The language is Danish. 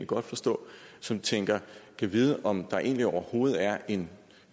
godt forstå som tænker gad vide om der egentlig overhovedet er en